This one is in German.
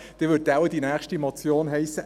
Dann würde wohl die nächste Motion heissen: